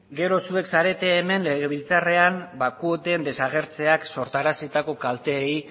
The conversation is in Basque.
gero zuek zarete hemen legebiltzarrean kuoten desagertzeak sortaraziko kalteei